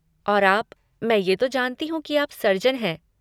और आप, मैं ये तो जानती हूँ कि आप सर्जन हैं।